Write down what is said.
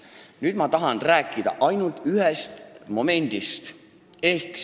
Nüüd ma tahan rääkida ainult ühest momendist.